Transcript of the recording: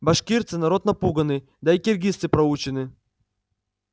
башкирцы народ напуганный да и киргизцы проучены